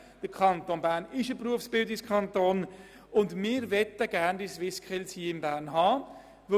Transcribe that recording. Der Kanton Bern ist ein Berufsbildungskanton, und deshalb möchten wir die SwissSkills in Bern haben.